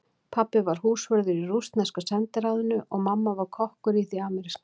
Pabbi var húsvörður í rússneska sendiráðinu og mamma var kokkur í því ameríska.